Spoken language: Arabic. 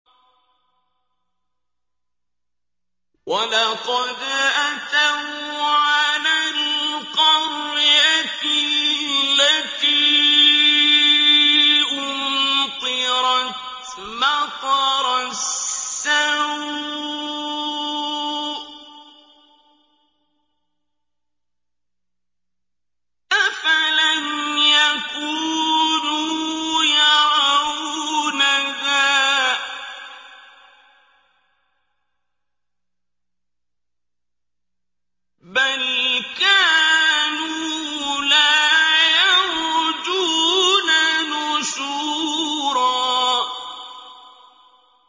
وَلَقَدْ أَتَوْا عَلَى الْقَرْيَةِ الَّتِي أُمْطِرَتْ مَطَرَ السَّوْءِ ۚ أَفَلَمْ يَكُونُوا يَرَوْنَهَا ۚ بَلْ كَانُوا لَا يَرْجُونَ نُشُورًا